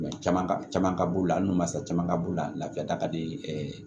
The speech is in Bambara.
Caman ka caman ka b'u la an nun mansa caman ka b'u la lafiya da ka di